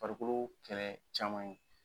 Farikolo kɛlɛ caman